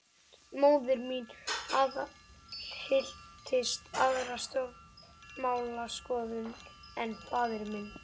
Móðir mín aðhylltist aðra stjórnmálaskoðun en faðir minn.